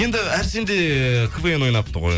енді әрсен де квн ойнапты ғой